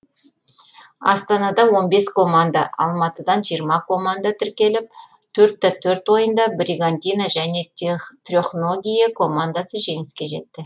астанадан он бес команда алматыдан жиырма команда тіркеліп төртте төрт ойында бригантина және трехногие командасы жеңіске жетті